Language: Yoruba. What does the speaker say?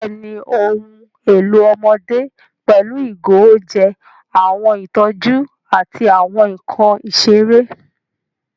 Bẹ́ẹ̀ni, ohun èlò ọmọdé pẹ̀lú ìgò oúnjẹ, àwọn ìtọ́jú, àti àwọn nkan ìṣeré.